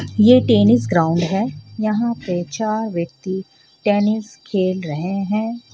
ये tennis ground हे यहाँ पे चार व्यक्ति टेनिस खेल रहे हे.